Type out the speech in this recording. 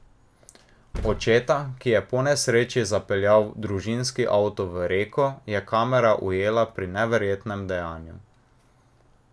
Očeta, ki je po nesreči zapeljal družinski avto v reko, je kamera ujela pri neverjetnem dejanju.